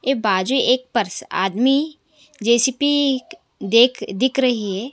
ये बाजू एक पर्स आदमी जे_सी_बी एक देख दिख रही हैं।